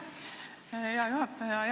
Aitäh, hea juhataja!